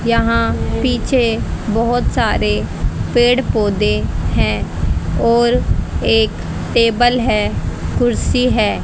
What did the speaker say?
यहां पीछे बहोत सारे पेड़ पौधे हैं और एक टेबल है कुर्सी है।